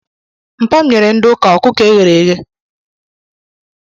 Mpa m nyere ndị ụka ọkụkọ eghere eghe.